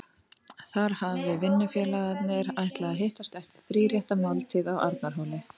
Þar hafi vinnufélagarnir ætlað að hittast eftir þríréttaða máltíð á Arnarhóli.